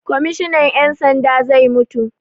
Kwammishinan 'yan sanda zai mutu.